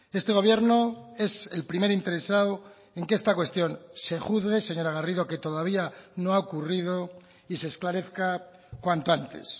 este gobierno es el primer interesado en que esta cuestión se juzgue señora garrido que todavía no ha ocurrido y se esclarezca cuanto antes